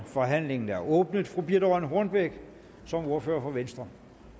forhandlingen er åbnet fru birthe rønn hornbech som ordfører for venstre